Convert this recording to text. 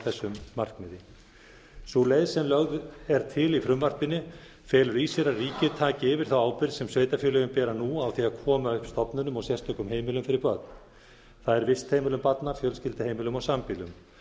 þessu markmiði sú leið sem lögð er til í frumvarpinu felur í sér að ríkið taki yfir þá ábyrgð sem sveitarfélögin bera nú á því að koma upp stofnunum og sérstökum heimilum fyrir börn það er vistheimilum barna fjölskylduheimilum og sambýlum